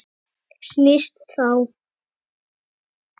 Snýst þá